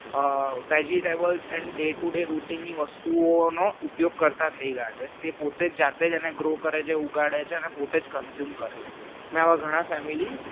vegetable and day to day routine ની વસ્તુઓનો ઉપયોગ કરતા થઈ ગયા છે તે પોતે જાતે જ અને grow કરે છે ઉઘાડે છે અને પોતે જ consume કરે છે મેં આવા ઘણા family